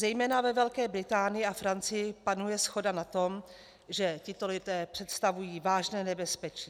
Zejména ve Velké Británii a Francii panuje shoda na tom, že tito lidé představují vážné nebezpečí.